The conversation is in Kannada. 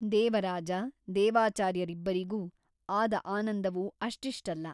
ದೇವರಾಜ ದೇವಾಚಾರ್ಯರಿಬ್ಬರಿಗೂ ಆದ ಆನಂದವು ಅಷ್ಟಿಷ್ಟಲ್ಲ.